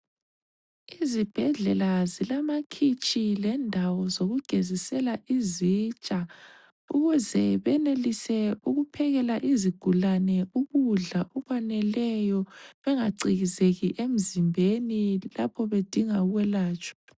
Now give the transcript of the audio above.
Izibhedlela zilamakhitshi lendawo zokugezisela izitsha ukuze benelise ukuphekela izigulane ukudla okwaneleyo bengacikizeki emzimbeni lapho bedinga ukwelatshwa.